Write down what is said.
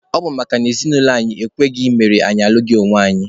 Ọ bụ makana ezinaụlọ anyị ekweghị mere na anyị alụghị onwe anyị.